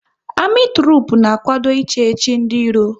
Amị trupu na-akwado ị chechi ndị iro